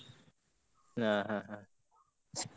ಆ ಆ.